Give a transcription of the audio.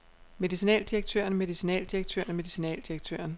medicinaldirektøren medicinaldirektøren medicinaldirektøren